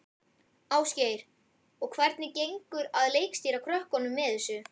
Ásgeir: Og hvernig gengur að leikstýra krökkum sem þessu?